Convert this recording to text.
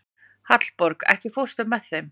Hallborg, ekki fórstu með þeim?